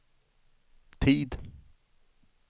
tid